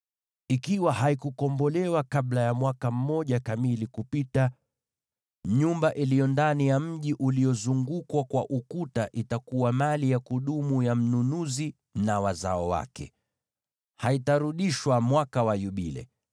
Ikiwa haikukombolewa kabla ya mwaka mmoja kamili kupita, nyumba iliyo ndani ya mji uliozungukwa kwa ukuta itakuwa mali ya kudumu ya mnunuzi na wazao wake. Haitarudishwa mwaka wa Yubile.